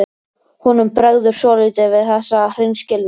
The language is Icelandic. Honum bregður svolítið við þessa hreinskilni.